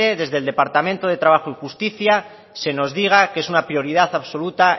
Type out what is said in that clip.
desde el departamento de trabajo y justica se nos diga que es una prioridad absoluta